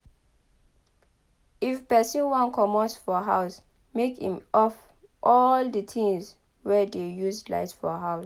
if person wan comot for house make im off all di things wey dey use light for house